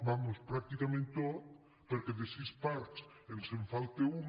vaja pràcticament tot perquè de sis parts ens en falta una